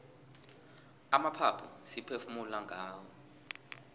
amaphaphu siphefumula ngawo